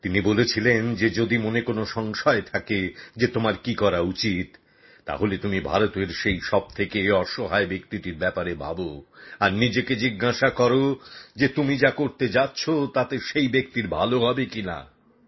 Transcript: তিনি বলেছিলেন যে যদি মনে কোনও সংশয় থাকে যে তোমার কী করা উচিত তাহলে তুমি ভারতের সেই সবথেকে অসহায় ব্যক্তিটির ব্যাপারে ভাবো আর নিজেকে জিজ্ঞাসা করো যে তুমি যা করতে যাচ্ছ তাতে সেই ব্যক্তির ভালো হবে কিনা